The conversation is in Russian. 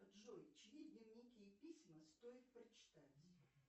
джой чьи дневники и письма стоит прочитать